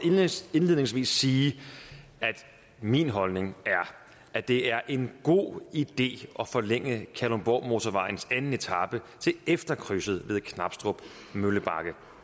indledningsvis sige at min holdning er at det er en god idé at forlænge kalundborgmotorvejens anden etape til efter krydset ved knabstrup møllebakke